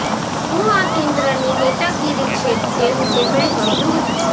શું આ કેન્દ્રની નેતાગીરી છે તેવું તેમણે કહ્યું હતું